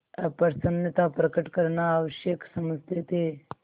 अप्रसन्नता प्रकट करना आवश्यक समझते थे